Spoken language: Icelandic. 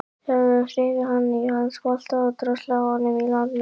Þau höfðu hrifið hann af hafsbotni og dröslað honum í land með góðra manna hjálp.